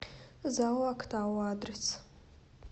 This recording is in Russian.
зао актау адрес